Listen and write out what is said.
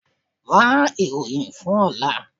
Wá ìròyìn fún ọ̀la.